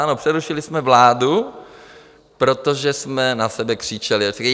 Ano, přerušili jsme vládu, protože jsme na sebe křičeli.